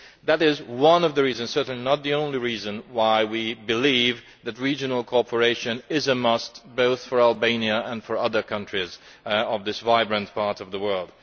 That is one of the reasons, and certainly not the only reason, why we believe that regional cooperation is a must both for Albania and for other countries of this vibrant part of the world.